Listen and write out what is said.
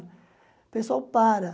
O pessoal para.